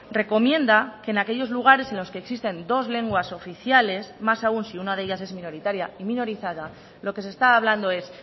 recomienda que en aquellos lugares en los que existen dos lenguas oficiales más aún si una de ellas es minoritaria y minorizada lo que se está hablando es